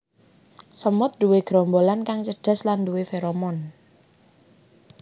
Semut nduwe gerombolan kang cerdas lan nduwé feromon